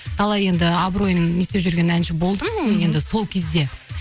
талай енді абыройым не істеп жүрген әнші болдым енді сол кезде